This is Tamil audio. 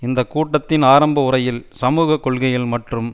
இந்த கூட்டத்தின் ஆரம்ப உரையில் சமூக கொள்கைகள் மற்றும்